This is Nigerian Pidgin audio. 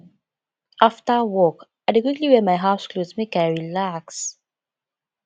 afta work i dey quickly wear my house clothes make i relax